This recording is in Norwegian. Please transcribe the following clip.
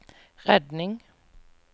redning